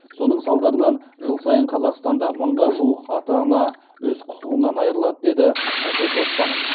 соның салдарынан жыл сайын қазақстанда мыңға жуық ата ана өз құқығынан айырылады деді әсет оспанов